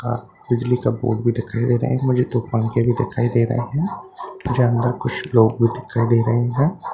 आ बिजली का बोर्ड भी दिखाई दे रहा है मुझे दो पंखे भी दिखाई दे रहे हैं मुझे अंदर कुछ लोग भी दिखाई दे रहे हैं ।